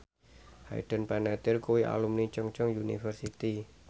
Hayden Panettiere kuwi alumni Chungceong University